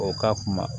O ka kuma